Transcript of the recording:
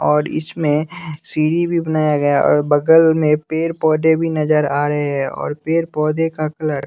और इसमें सीढ़ी भी बनाया गया हैं और बगल में पेड़ पौधे भी नजर आ रहे हैं और पेड़ पौधे का कलर --